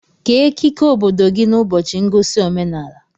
Kee ekike obodo gị n'ụbọchị ngosi omenaala